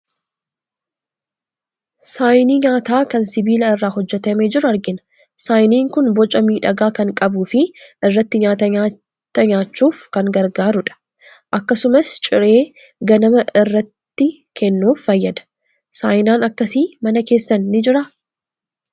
Saayinii nyaataa kan sibiila irraa hojjetamee jiru argina. Saayiniin kun boca miidhagaa kan qabuu fi irratti nyaata nyaata nyaachuuf kan gargaarudha. Akkasumas, ciree ganamaa irratti kennuuf fayyada. Saayinaan akkasii mana keessan ni jiraa?